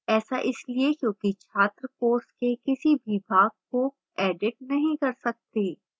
ऐसा इसलिए है क्योंकि छात्र course के किसी भी भाग को edit नहीं कर सकते